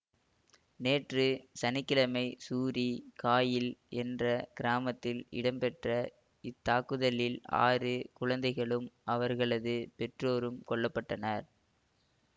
நேற்று சனி கிழமை சூரி காயில் என்ற கிராமத்தில் இடம்பெற்ற இத்தாக்குதலில் ஆறு குழந்தைகளும் அவர்களது பெற்றோரும் கொல்ல பட்டனர்